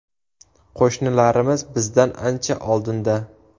Qo‘shnilarimiz bizdan ancha oldinda.